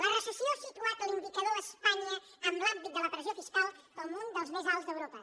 la recessió ha situat l’indi·cador a espanya en l’àmbit de la pressió fiscal com un dels més alts d’europa